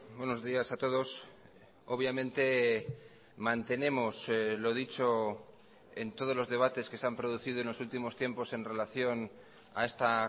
buenos días a todos obviamente mantenemos lo dicho en todos los debates que se han producido en los últimos tiempos en relación a esta